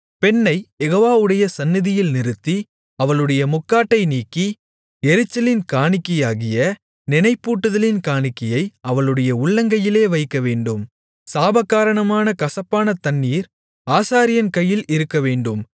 பெண்ணைக் யெகோவாவுடைய சந்நிதியில் நிறுத்தி அவளுடைய முக்காட்டை நீக்கி எரிச்சலின் காணிக்கையாகிய நினைப்பூட்டுதலின் காணிக்கையை அவளுடைய உள்ளங்கையிலே வைக்கவேண்டும் சாபகாரணமான கசப்பான தண்ணீர் ஆசாரியன் கையில் இருக்கவேண்டும்